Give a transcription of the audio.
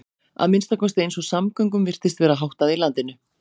Að minnsta kosti eins og samgöngum virtist vera háttað í landinu.